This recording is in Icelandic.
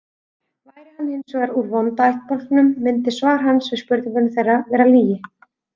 Væri hann hins vegar úr vonda ættbálknum myndi svar hans við spurningu þeirra vera lygi.